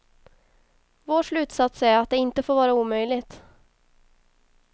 Vår slutsats är att det inte får vara omöjligt.